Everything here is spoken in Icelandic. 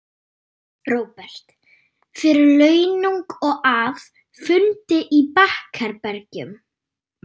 Róbert: Fyrir launung og að, fundi í bakherbergjum?